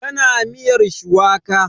Tana miyar shuwaka.